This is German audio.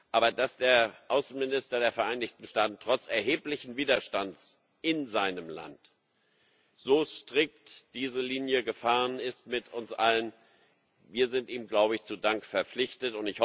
Aber dass der Außenminister der Vereinigten Staaten trotz erheblichen Widerstands in seinem Land so strikt diese Linie gefahren ist mit uns allen wir sind ihm, glaube ich, zu Dank verpflichtet.